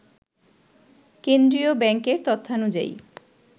কেন্দ্রীয় ব্যাংকের তথ্যানুযায়ী